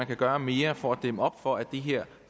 kan gøre mere for at dæmme op for at det her